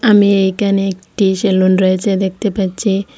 আমি এইকানে একটি সেলুন রয়েচে দেখতে পাচ্ছি।